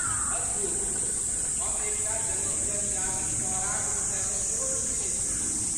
अद्भुत! हम एक टा जङ्गली जनजाति सौराक विषयमे सेहो सुनने छी।